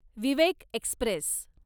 Vivek Express